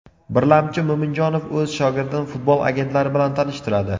Birlamchi, Mo‘minjonov o‘z shogirdini futbol agentlari bilan tanishtiradi.